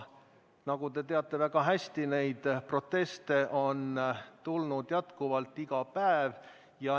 Nagu te väga hästi teate, neid proteste on tulnud jätkuvalt iga päev.